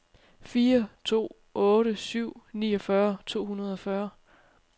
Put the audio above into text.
fire to otte syv niogfyrre to hundrede og fyrre